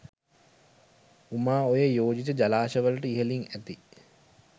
උමාඔයේ යෝජිත ජලාශවලට ඉහළින් ඇති